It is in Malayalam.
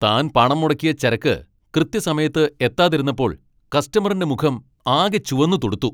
താൻ പണം മുടക്കിയ ചരക്ക് കൃത്യസമയത്ത് എത്താതിരുന്നപ്പോൾ കസ്റ്റമറിന്റെ മുഖം ആകെ ചുവന്നു തുടുത്തു .